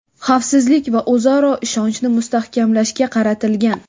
xavfsizlik va o‘zaro ishonchni mustahkamlashga qaratilgan.